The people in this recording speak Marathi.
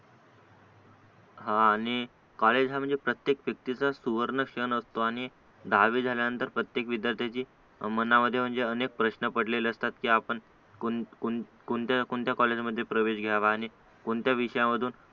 हा आणि कॉलेज हा म्हणजे प्रत्येक प्रत्येक सुवर्णक्षण असतो आणि दहावी झाल्यानंतर प्रत्येक विद्यार्थ्यांची मनामध्ये अनेक प्रश्न पडलेले असतात की आपण कोण कोण कोणत्या कॉलेजमध्ये प्रवेश घ्यावा आणि कोणत्या विषयांमधून